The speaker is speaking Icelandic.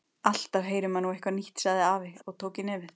Alltaf heyrir maður nú eitthvað nýtt sagði afi og tók í nefið.